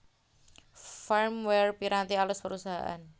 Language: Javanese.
Firmware Piranti alus Perusahaan